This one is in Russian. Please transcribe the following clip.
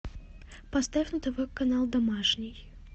поставь на тв канал домашний